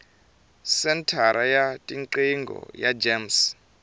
senthara ya tiqingho ya gems